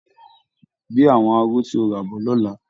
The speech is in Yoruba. Gbé àwọn aró tí o rà bọ̀ lọ́la!